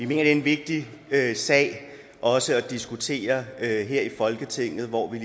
det er en vigtig sag også at diskutere her i folketinget hvor vi